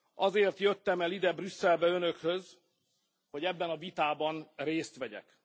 Azért jöttem el ide, Brüsszelbe Önökhöz, hogy ebben a vitában részt vegyek.